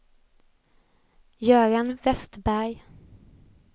Göran Vestberg